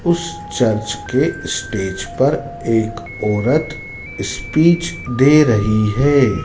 उस चर्च के स्टेज पर एक औरत दे रही है।